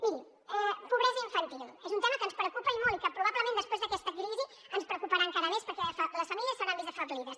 miri pobresa infantil és un tema que ens preocupa i molt i que probablement després d’aquesta crisi ens preocuparà encara més perquè les famílies s’hauran vist afeblides